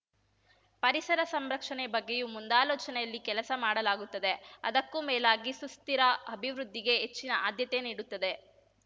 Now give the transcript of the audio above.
ಪರಿಸರ ಸಂರಕ್ಷಣೆ ಬಗ್ಗೆಯೂ ಮುಂದಾಲೋಚನೆಯಲ್ಲಿ ಕೆಲಸ ಮಾಡಲಾಗುತ್ತದೆ ಅದಕ್ಕೂ ಮೇಲಾಗಿ ಸುಸ್ಥಿರ ಅಭಿವೃದ್ಧಿಗೆ ಹೆಚ್ಚಿನ ಆದ್ಯತೆ ನೀಡುತ್ತದೆ